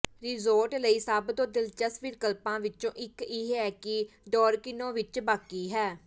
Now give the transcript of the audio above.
resort ਲਈ ਸਭ ਤੋਂ ਦਿਲਚਸਪ ਵਿਕਲਪਾਂ ਵਿੱਚੋਂ ਇੱਕ ਇਹ ਹੈ ਕਿ ਡਾਰਕਿਨੋ ਵਿੱਚ ਬਾਕੀ ਹੈ